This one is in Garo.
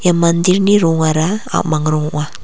ia mandir-ni rongara a·mang rong ong·a.